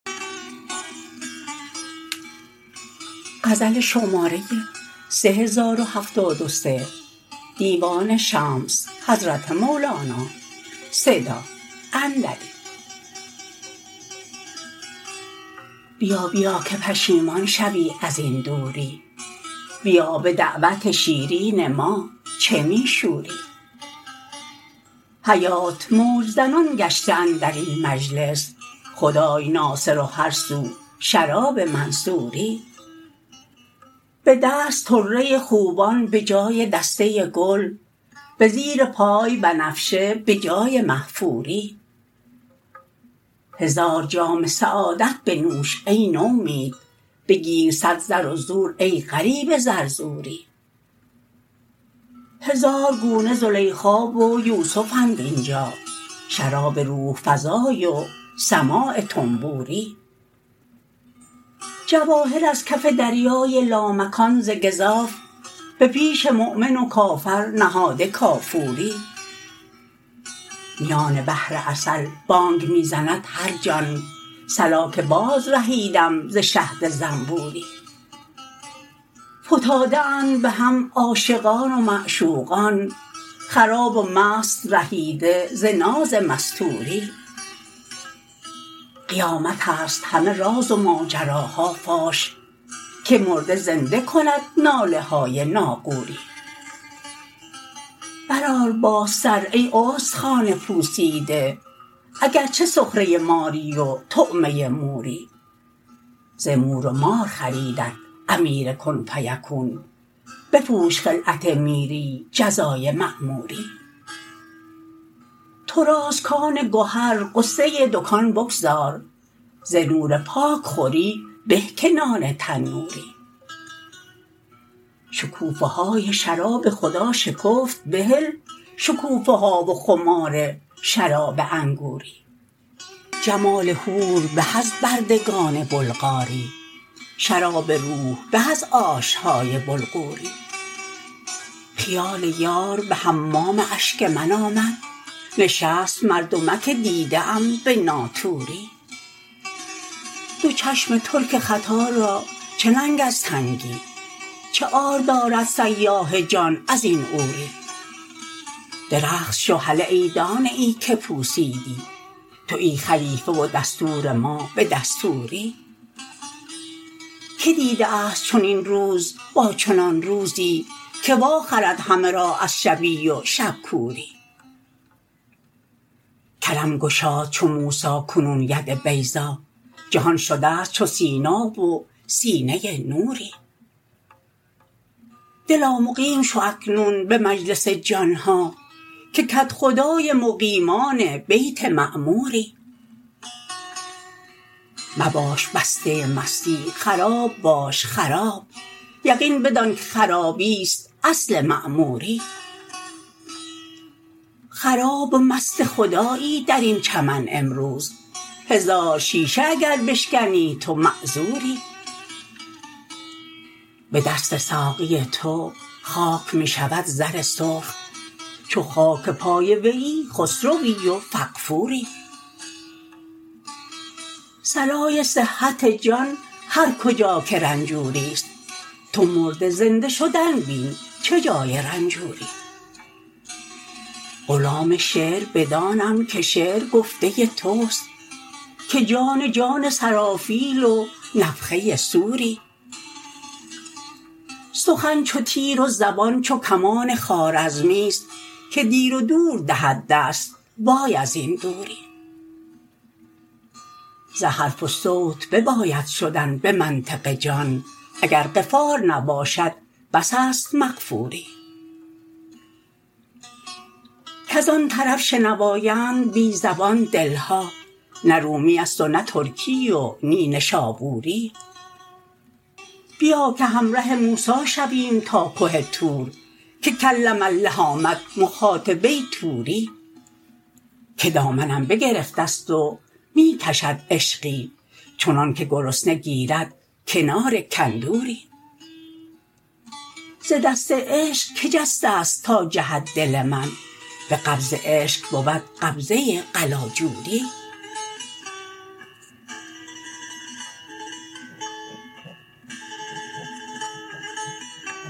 بیا بیا که پشیمان شوی از این دوری بیا به دعوت شیرین ما چه می شوری حیات موج زنان گشته اندر این مجلس خدای ناصر و هر سو شراب منصوری به دست طره خوبان به جای دسته گل به زیر پای بنفشه به جای محفوری هزار جام سعادت بنوش ای نومید بگیر صد زر و زور ای غریب زرزوری هزار گونه زلیخا و یوسفند این جا شراب روح فزای و سماع طنبوری جواهر از کف دریای لامکان ز گزاف به پیش مؤمن و کافر نهاده کافوری میان بحر عسل بانگ می زند هر جان صلا که بازرهیدم ز شهد زنبوری فتاده اند به هم عاشقان و معشوقان خراب و مست رهیده ز ناز مستوری قیامت ست همه راز و ماجراها فاش که مرده زنده کند ناله های ناقوری برآر باز سر ای استخوان پوسیده اگر چه سخره ماری و طعمه موری ز مور و مار خریدت امیر کن فیکون بپوش خلعت میری جزای مأموری تو راست کان گهر غصه دکان بگذار ز نور پاک خوری به که نان تنوری شکوفه های شراب خدا شکفت بهل شکوفه ها و خمار شراب انگوری جمال حور به از بردگان بلغاری شراب روح به از آش های بلغوری خیال یار به حمام اشک من آمد نشست مردمک دیده ام به ناطوری دو چشم ترک خطا را چه ننگ از تنگی چه عار دارد سیاح جان از این عوری درخت شو هله ای دانه ای که پوسیدی توی خلیفه و دستور ما به دستوری کی دیده ست چنین روز با چنان روزی که واخرد همه را از شبی و شب کوری کرم گشاد چو موسی کنون ید بیضا جهان شده ست چو سینا و سینه نوری دلا مقیم شو اکنون به مجلس جان ها که کدخدای مقیمان بیت معموری مباش بسته مستی خراب باش خراب یقین بدانک خرابیست اصل معموری خراب و مست خدایی در این چمن امروز هزار شیشه اگر بشکنی تو معذوری به دست ساقی تو خاک می شود زر سرخ چو خاک پای ویی خسروی و فغفوری صلای صحت جان هر کجا که رنجوریست تو مرده زنده شدن بین چه جای رنجوری غلام شعر بدانم که شعر گفته توست که جان جان سرافیل و نفخه صوری سخن چو تیر و زبان چو کمان خوارزمی است که دیر و دور دهد دست وای از این دوری ز حرف و صوت بباید شدن به منطق جان اگر غفار نباشد بس است مغفوری کز آن طرف شنوااند بی زبان دل ها نه رومیست و نه ترکی و نی نشابوری بیا که همره موسی شویم تا که طور که کلم الله آمد مخاطبه طوری که دامنم بگرفته ست و می کشد عشقی چنانک گرسنه گیرد کنار کندوری ز دست عشق کی جسته ست تا جهد دل من به قبض عشق بود قبضه قلاجوری